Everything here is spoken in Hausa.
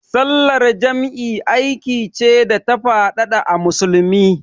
Sallar jam'i aiki ce da ta faɗaɗa a Musulunci.